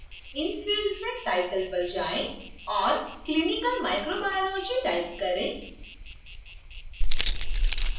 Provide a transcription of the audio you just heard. इन fields में title पर जाएँ और clinical microbiology type करें